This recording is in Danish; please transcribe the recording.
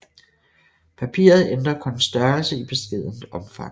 Papiret ændrer kun størrelse i beskedent omfang